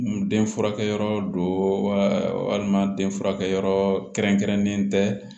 Den furakɛyɔrɔ do walima den furakɛ yɔrɔ kɛrɛnkɛrɛnnen tɛ